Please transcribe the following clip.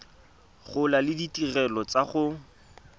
gola le ditirelo tsa go